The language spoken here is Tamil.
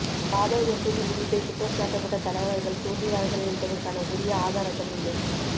பாபர் மசூதி இடிப்பை குற்றம்சாட்டப்பட்ட தலைவர்கள் தூண்டினார்கள் என்பதற்கான உரிய ஆதாரங்கள் இல்லை